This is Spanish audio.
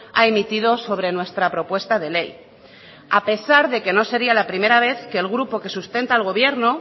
ha emitido sobre nuestra propuesta de ley a pesar de que no sería la primera vez que el grupo que sustenta el gobierno